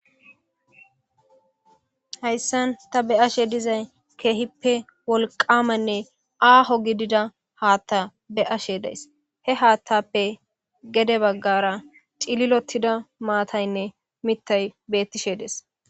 Heyssan ta be'ashe dizay keehippe wolqaamanne aaho gidida haatta be'ashe days. He haattappe gede baggara cililottida maataynne mittay beettishe des.